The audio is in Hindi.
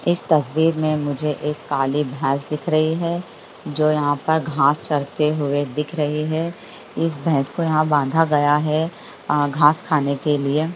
इस तस्वीर में मुझे एक काली भैंस दिख रही है जो यहां पर घास चरते हुए दिख रही है इस भैंस को यहाँ बांधा गया है घास खाने के लिए।